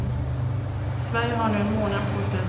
Sverige har nu en månad på sig att svara på anklagelsen.